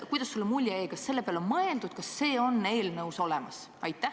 Kuidas sulle mulje jäi: kas selle peale on mõeldud, kas see on eelnõus olemas?